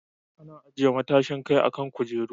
Ana ajiye matashin kai a kan kujeru.